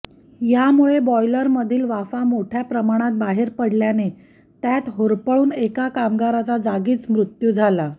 यामुळे बॉयलरमधील वाफ मोठ्या प्रमाणात बाहेर पडल्याने त्यात होरपळून एका कामगाराचा जागीच मृत्यू झाला